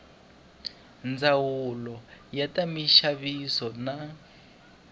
ndzawulo ya ta minxaviso na